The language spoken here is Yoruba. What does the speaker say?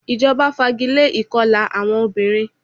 Ìjọba fagilé ìkọla àwọn obìnrin.